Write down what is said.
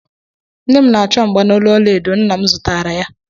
Nne m na-achọ mgbanolu ọlaedo nna m zụtaara ya